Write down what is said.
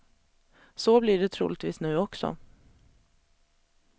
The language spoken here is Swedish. Så blir det troligtvis nu också.